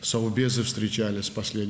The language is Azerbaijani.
Təhlükəsizlik Şuraları son vaxtlar görüşüb.